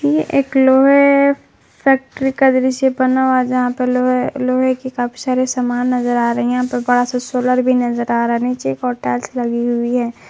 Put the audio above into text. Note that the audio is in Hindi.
यह एक लोहे फैक्ट्री का दृश्य बना हुआ है यहां पर लोहे लोहे के काफी सारे सामान नजर आ रही है यहां पर बड़ा सा सोलर भी नजर आ रहा है नीचे एक और टाइल्स लगी हुई है।